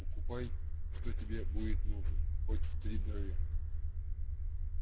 покупай что тебе будет нужно хоть втридорога